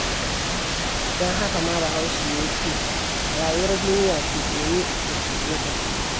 Don haka ma Bahaushe ya ce rayuwar duniya cuɗe-ni-in-cuɗe-ka ce.